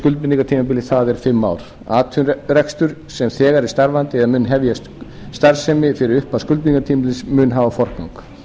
skuldbindingartímabilið það er fimm ár atvinnurekstur sem þegar er starfandi eða mun hefja starfsemi fyrir upphaf skuldbindingartímabilsins mun hafa forgang